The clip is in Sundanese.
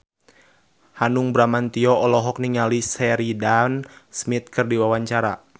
Hanung Bramantyo olohok ningali Sheridan Smith keur diwawancara